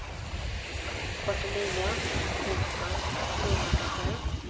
fyrtionio tusen fyrahundrasju